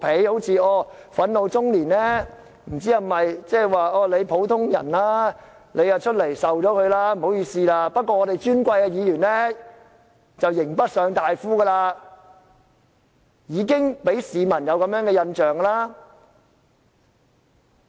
不知是否因為憤怒中年是普通人就要承受後果，不好意思了，但尊貴的議員就"刑不上大夫"，已經讓市民有這樣的印象。